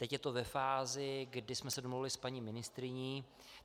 Teď je to ve fázi, kdy jsme se domluvili s paní ministryní.